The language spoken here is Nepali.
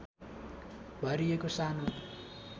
भरिएको सानो